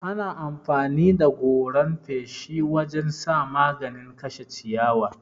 Ana amfani da goran feshi wurin sa maganin kashe ciyayi.